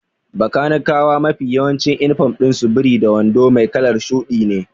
Bakanikawa mafi yawancin inifom ɗin su biri da wando mai kalar shuɗi ne.